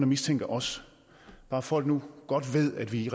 mistænker os bare folk nu godt ved at vi